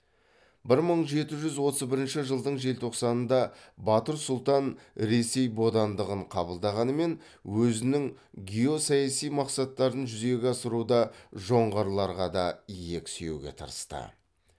бір мың жеті жүз отыз бірінші жылдың желтоқсанында батыр сұлтан ресей бодандығын қабылдағанымен өзінің геосаяси мақсаттарын жүзеге асыруда жоңғарларға да иек сүйеуге тырысты